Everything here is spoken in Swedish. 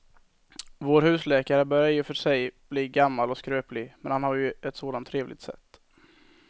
Vår husläkare börjar i och för sig bli gammal och skröplig, men han har ju ett sådant trevligt sätt!